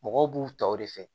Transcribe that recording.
Mɔgɔw b'u taw de fɛ